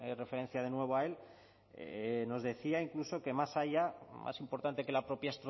referencia de nuevo a él nos decía incluso que más allá más importante que la propia